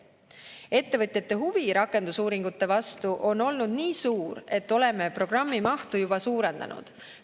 Ettevõtjate huvi rakendusuuringute vastu on olnud nii suur, et oleme programmi mahtu juba suurendanud.